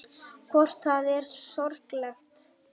Hvort það var sorglegt.